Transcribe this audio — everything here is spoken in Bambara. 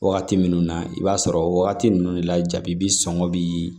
Wagati minnu na i b'a sɔrɔ wagati ninnu de la jabi bɛ sɔn bi